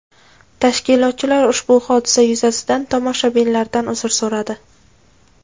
Tashkilotchilar ushbu hodisa yuzasidan tomoshabinlardan uzr so‘radi.